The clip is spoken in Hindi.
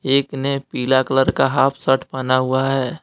एक ने पीला कलर का हॉफ शर्ट पहना हुआ है।